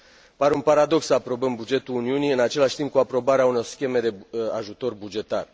Pare un paradox să aprobăm bugetul Uniunii în același timp cu aprobarea unor scheme de ajutor bugetar.